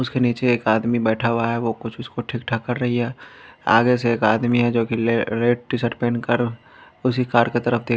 उसके नीचे एक आदमी बैठा हुआ है वह कुछ उसको ठीक-ठाक कर रही है आगे से एक आदमी है जो कि रेड टी-शर्ट पहनकर उसी कार के तरफ देख--